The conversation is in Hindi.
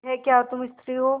यह क्या तुम स्त्री हो